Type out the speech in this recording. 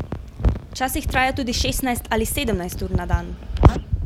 Včasih traja tudi šestnajst ali sedemnajst ur na dan.